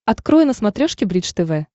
открой на смотрешке бридж тв